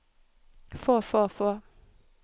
få få få